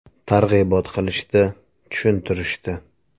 Targ‘ibot qilishdi, tushuntirishdi.